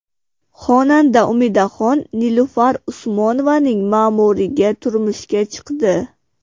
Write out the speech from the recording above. Xonanda Umidaxon Nilufar Usmonovaning ma’muriga turmushga chiqdi .